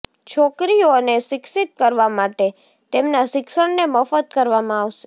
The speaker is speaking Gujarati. છોકરીઓને શિક્ષિત કરવા માટે તેમના શિક્ષણને મફત કરવામાં આવશે